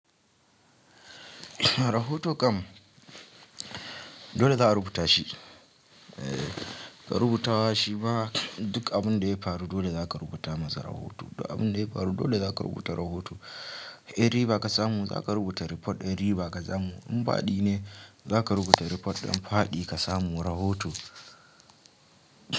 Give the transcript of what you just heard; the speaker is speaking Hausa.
Rahoto kam dole za a rubuta shi. Eh ka rubuta wa shi ba duk abin da ya faru dole za ka rubuta masa rahoto. Duk abin da ya faru dole za ka rubuta rahoto. In riba ka samu za ka rubuta rifot ɗin riba ka samu. In faɗi ne za ka rubuta rifot ɗin faɗi ka samu rahoto.